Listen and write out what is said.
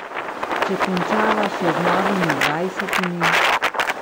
Če končava še z Novimi dvajsetimi ...